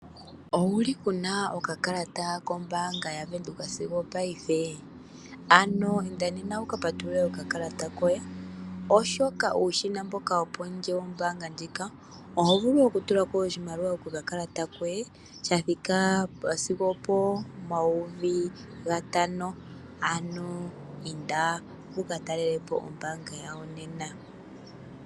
Owuli kuuna okakalata kombaanga yaVenduka sigo opaife, ano inda nena wuka patulule okakalata koye, oshoka uushina mboka wopondje wombaanga ndjika, oho vulu oku tula ko oshimaliwa to longitha okakalata koye, sha thika sigo opo mayovi gatano, ano inda wuka talele po ombaanga yawo nena.